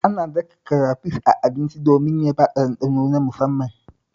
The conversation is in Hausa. Ana daka karafish a abinci domin ya bada ɗanɗano na musamman